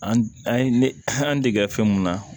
An an ye ne an dege fɛn mun na